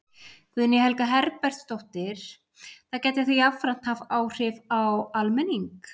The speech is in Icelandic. Guðný Helga Herbertsdóttir: Það gæti þá jafnframt haft áhrif á almenning?